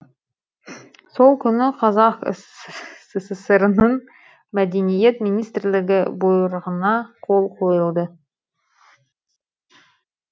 сол күні қазақ сср інің мәдениет министрлігі бұйрығына қол қойылды